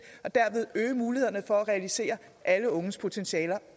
og derved øge mulighederne for at realisere alle unges potentialer